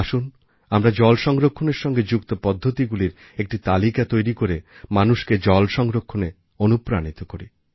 আসুন আমরা জল সংরক্ষণের সঙ্গে যুক্ত পদ্ধতিগুলির একটি তালিকা তৈরি করে মানুষকে জল সংরক্ষণে অনুপ্রাণিত করি